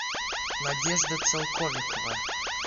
надежда целковикова